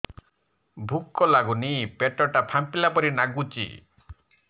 ଭୁକ ଲାଗୁନି ପେଟ ଟା ଫାମ୍ପିଲା ପରି ନାଗୁଚି